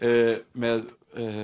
með